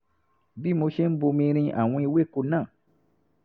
bí mo ṣe ń bomi rin àwọn ewéko náà